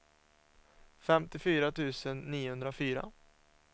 femtiofyra tusen niohundrafyra